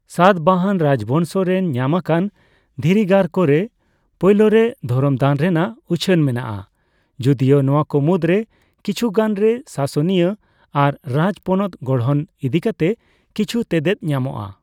ᱥᱟᱛᱵᱟᱦᱚᱱ ᱨᱟᱡᱵᱚᱝᱥᱚ ᱨᱮᱱ ᱧᱟᱢᱟᱠᱟᱱ ᱫᱷᱤᱨᱤᱜᱟᱨ ᱠᱚᱨᱮ ᱯᱳᱭᱞᱳᱨᱮ ᱫᱷᱚᱨᱚᱢ ᱫᱟᱱ ᱨᱮᱭᱟᱜ ᱩᱪᱷᱟᱹᱱ ᱢᱮᱱᱟᱜᱼᱟ, ᱡᱩᱫᱤᱭᱳ ᱱᱚᱣᱟ ᱠᱚ ᱢᱩᱫᱨᱮ ᱠᱤᱪᱷᱩᱜᱟᱱᱨᱮ ᱥᱟᱥᱚᱱᱤᱭᱟᱹ ᱟᱨ ᱨᱟᱡᱯᱚᱱᱚᱛ ᱜᱚᱲᱦᱚᱱ ᱤᱫᱤᱠᱟᱛᱮ ᱠᱤᱪᱷᱩ ᱛᱮᱛᱮᱫ ᱧᱟᱢᱚᱜᱼᱟ ᱾